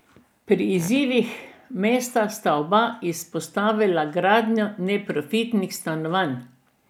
Pri izzivih mest sta oba izpostavila gradnjo neprofitnih stanovanj.